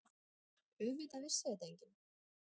Auðvitað vissi þetta enginn.